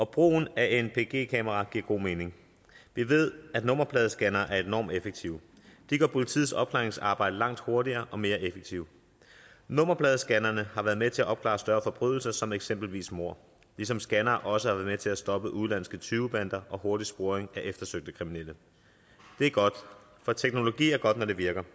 brugen af kameraer giver god mening vi ved at nummerpladescannere er enormt effektive de gør politiets opklaringsarbejde langt hurtigere og mere effektivt nummerpladescannere har været med til at opklare større forbrydelser som eksempelvis mord ligesom scannere også har været med til at stoppe udenlandske tyvebander og til hurtig sporing af eftersøgte kriminelle det er godt for teknologi er godt når det virker